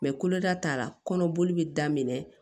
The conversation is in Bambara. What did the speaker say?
koloda tara kɔnɔboli bɛ daminɛ